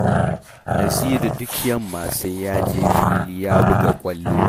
Naziru duk yamma sai ya je fili ya buga ƙwallo